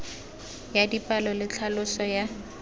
ya dipalo le tlhaloso ya